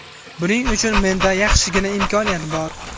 Buning uchun menda yaxshigina imkoniyat bor.